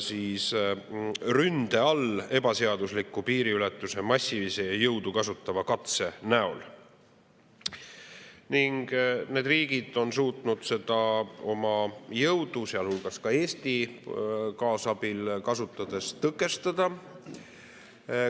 ebaseadusliku piiriületuse massilise ja jõudu kasutava katsega, ent need riigid on suutnud seda oma jõudu kasutades tõkestada, sealhulgas ka Eesti kaasabil.